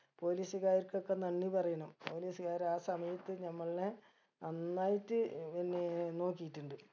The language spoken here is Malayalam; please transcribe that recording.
police കാർക്കൊക്കെ നന്ദി പറയണം police കാര് ആ സമയത്ത് നമ്മൾനെ നന്നായിട്ട് ഏർ പിന്നെ നോക്കിയിട്ട് ഇണ്ട്